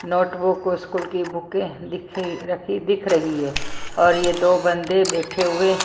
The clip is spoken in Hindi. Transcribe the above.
नोटबुक और स्कूल की बुके दिख रखी दिख रही है और ये दो बंदे बैठे हुए---